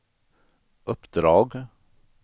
uppdrag